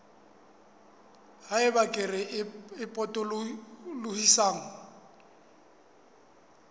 ha eba kere e potolohisang